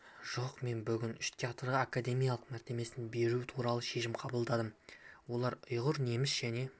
жоқ мен бүгін үш театрға академиялық мәртебесін беру туралы шешім қабылдадым олар ұйғыр неміс және